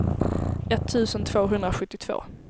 etttusen tvåhundrasjuttiotvå